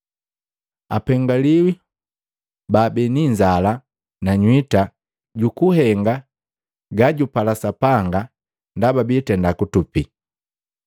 Apengiwi baabii ni inzala na nywita jukuhenga gajagapala Sapanga, ndaba biitenda kutupi.